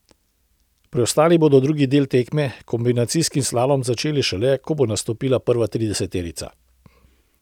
Preostali bodo drugi del tekme, kombinacijski slalom, začeli šele, ko bo nastopila prva trideseterica.